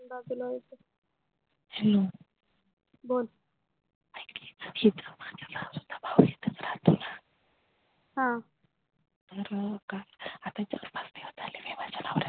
hello बोल ये आईकी भाऊ इथच राहतो ना हा तर त्याची मस्ती उतरली विमलच्या नवऱ्यान